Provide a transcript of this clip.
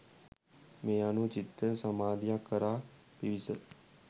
මේ අනුව චිත්ත සමාධියක් කරා පිවිස